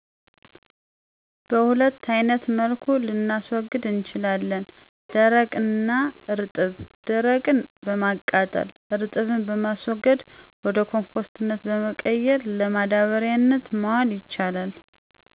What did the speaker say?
በሁለት አይነት መልኩ ልናስዉግድ እንችላለን ደረቅ እና እርጥብ ደርቅን በማቃጠል እርጥብን በማስረግ ወደኮፈስነት በመቀየር ለማዳበሪያነት መዋል ይቻላል።